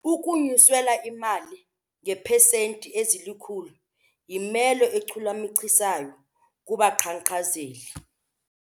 Ukunyuselwa imali ngeepesenti ezilikhulu yimelo echulumachisayo kubaqhankqalazi.